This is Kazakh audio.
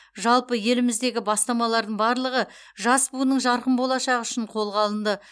жалпы еліміздегі бастамалардың барлығы жас буынның жарқын болашағы үшін қолға алынды